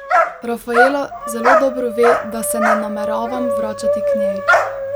Raffaella zelo dobro ve, da se ne nameravam vračati k njej.